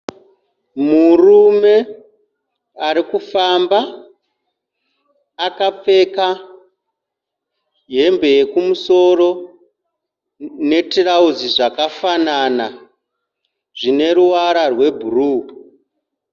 Murume ari kufamba akapfeka hembe yekumusoro netirauzi zvakafanana zvine ruvara rwebhuruu.